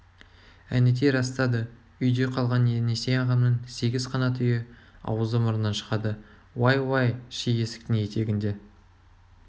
әнетей растады үйде қалған енесей ағамның сегіз қанат үйі аузы мұрнынан шығады уай-уай ши есіктің етегінде